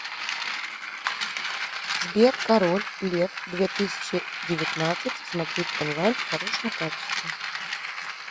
сбер король лев две тысячи девятнадцать смотреть онлайн в хорошем качестве